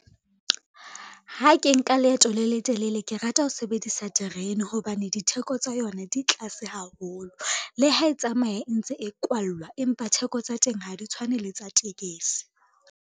Ha ke nka leeto le letelele ke rata ho sebedisa terene hobane, ditheko tsa yona di tlase haholo. Le ha e tsamaya e ntse e kwallwa, empa theko tsa teng ha di tshwane le tsa tekesi.